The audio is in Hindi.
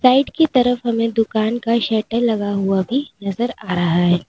साइड की तरफ हमें दुकान का शटर लगा हुआ भी नजर आ रहा है।